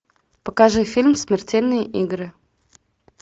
покажи фильм смертельные игры